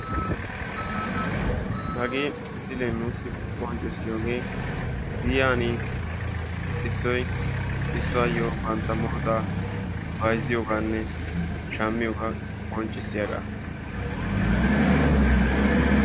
hagee misilee nuussi qonccissiyoge giyan issoy issuwaayo bantta murutaa bayizziyoogaanne shammiyogaa qonccissiyaaga.